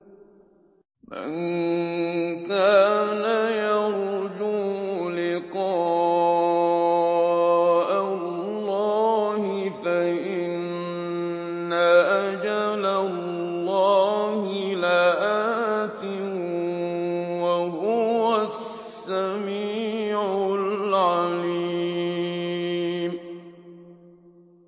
مَن كَانَ يَرْجُو لِقَاءَ اللَّهِ فَإِنَّ أَجَلَ اللَّهِ لَآتٍ ۚ وَهُوَ السَّمِيعُ الْعَلِيمُ